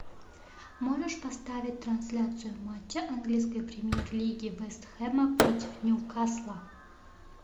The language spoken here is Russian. можешь поставить трансляцию матча английской премьер лиги вест хэма против ньюкасла